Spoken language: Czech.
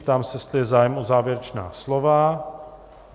Ptám se, jestli je zájem o závěrečná slova.